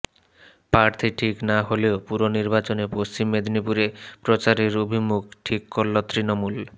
প্রার্থী ঠিক না হলেও পুরনির্বাচনে পশ্চিম মেদিনীপুরে প্রচারের অভিমুখ ঠিক করল তৃণমূল